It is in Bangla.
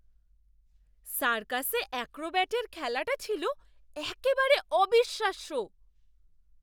সার্কাসে অ্যাক্রোব্যাটের খেলাটা ছিল একেবারে অবিশ্বাস্য!